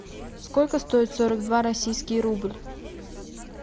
сколько стоит сорок два российский рубль